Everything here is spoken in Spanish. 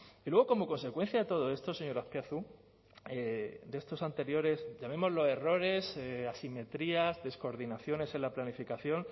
y luego como consecuencia de todo esto señor azpiazu de estos anteriores llamémoslo errores asimetrías descoordinaciones en la planificación